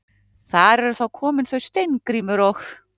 Þar eru þá komin þau Steingrímur og